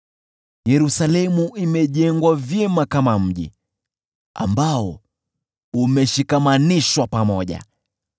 Yerusalemu imejengwa vyema kama mji ambao umeshikamanishwa pamoja.